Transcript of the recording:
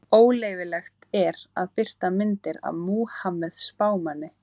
Óleyfilegt er að birta myndir af Múhameð spámanni.